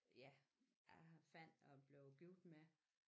Ja jeg fandt og blev gift med